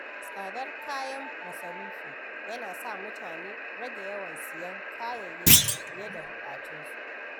Tsadar kayan masarufi yana sa mutane rage yawan siyan kayayyaki fiye da buƙatunsu.